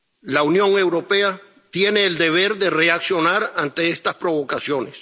La Unión Europea tiene el deber de reaccionar ante estas provocaciones.